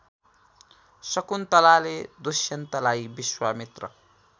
शकुन्तलाले दुष्यन्तलाई विश्वामित्र